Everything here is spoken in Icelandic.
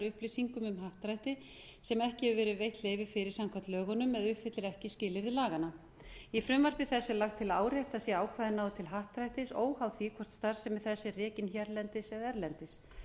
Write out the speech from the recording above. upplýsingum um happdrætti sem ekki hefur verið veitt leyfi fyrir samkvæmt lögunum eða uppfyllir ekki skilyrði laganna í frumvarpi þessu er lagt til að áréttað sé að ákvæðið nái til happdrættis óháð því hvort starfsemi þess er rekin hérlendis eða erlendis